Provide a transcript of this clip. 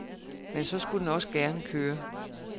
Men så skulle den også gerne køre.